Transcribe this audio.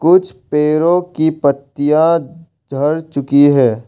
कुछ पेड़ो की पत्तियाँ झड़ चुकी है।